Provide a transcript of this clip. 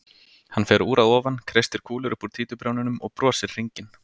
Hann fer úr að ofan, kreistir kúlur upp úr títuprjónunum og brosir hringinn.